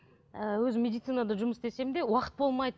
ы өзім медицинада жұмыс істесем де уақыт болмайды